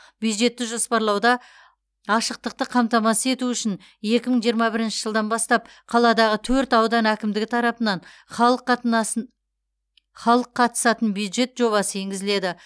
бюджетті жоспарлауда ашықтықты қамтамасыз ету үшін екі мың жиырма бірінші жылдан бастап қаладағы төрт аудан әкімдігі тарапынан халық қатынасын халық қатысатын бюджет жобасы енгізіледі